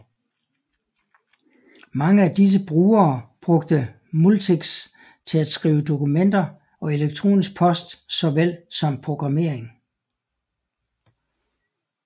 Mange af disse brugere brugte Multics til at skrive dokumenter og elektronisk post såvel som programmering